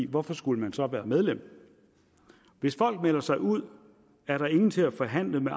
hvorfor skulle man så være medlem hvis folk melder sig ud er der ingen til at forhandle med